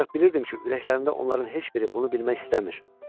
ancaq bilirdim ki, ürəklərində onların heç biri bunu bilmək istəmir.